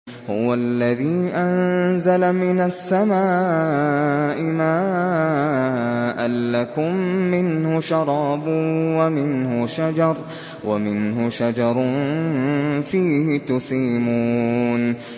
هُوَ الَّذِي أَنزَلَ مِنَ السَّمَاءِ مَاءً ۖ لَّكُم مِّنْهُ شَرَابٌ وَمِنْهُ شَجَرٌ فِيهِ تُسِيمُونَ